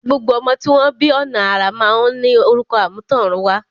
Gbogbo ọmọ tí wọ́n bí ọ̀nà àrà máa ń ní orúkọ àmútọ̀runwá.